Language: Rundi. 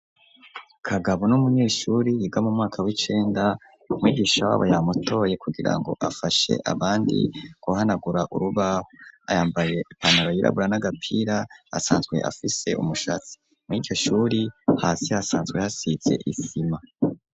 Kagabo n'umunyeshure yiga mu mwaka w'icenda mwigisha w'abo yamutoye kugira ngo afashe abandi guhanagura urubaho ayambaye ipantaro yirabura n'agapira asanzwe afise umushatsi murikeshuri hasi hasanzwe hasitse isima.